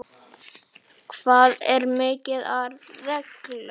Það er mikið af reglum.